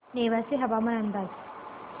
नेवासे हवामान अंदाज